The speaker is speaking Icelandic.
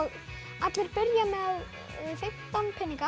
allir byrja með fimmtán peninga